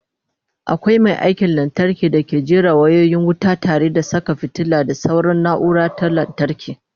akwai Mai aikin lantarki dake jera wayoyin wuta tare da Saka fitilu da sauran naura ta lantarki